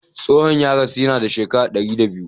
Tsohon ya rasu yana da shekara dari da biyu.